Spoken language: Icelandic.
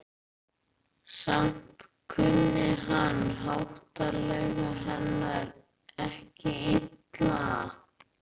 Samt kunni hann háttalagi hennar ekki illa.